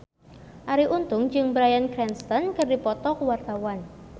Arie Untung jeung Bryan Cranston keur dipoto ku wartawan